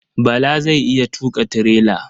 Bala zai iya tuƙa tirela.